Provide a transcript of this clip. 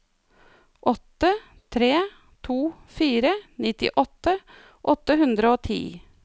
åtte tre to fire nittiåtte åtte hundre og ti